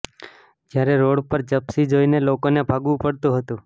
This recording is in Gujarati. જ્યારે રોડ પર જીપ્સી જોઈને લોકોને ભાગવું પડતું હતું